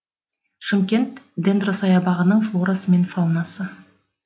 шымкент дендросаябағының флорасы мен фаунасы